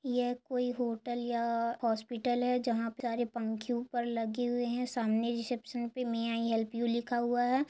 ये कोई होटल या हॉस्पिटल है जहा सारे पंखे ऊपर लगे हुए है रीसेप्शन पर मे आई हेल्प यू लिखा हुआ है।